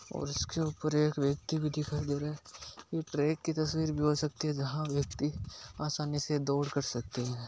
ओर इसके ऊपर एक व्यक्ति भी दिखाई दे रहा है यह ट्रेक की भी तस्वीर भी हो सकती जहाँ व्यक्ति आसानी से दौड़ कर सकते है।